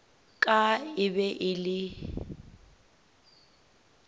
ka e be e le